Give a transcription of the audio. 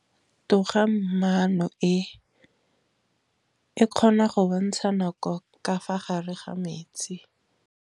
Toga-maanô e, e kgona go bontsha nakô ka fa gare ga metsi.